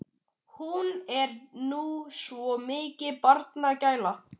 Hún er nú svo mikil barnagæla.